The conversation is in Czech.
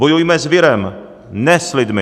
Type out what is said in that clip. Bojujme s virem, ne s lidmi!